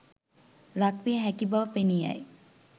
ලක්විය හැකි බව පෙනී යයි.